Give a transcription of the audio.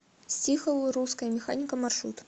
стихл русская механика маршрут